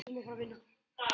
Mér líkar við